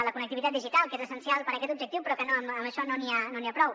la connectivitat digital que és essencial per a aquest objectiu però que amb això no n’hi ha prou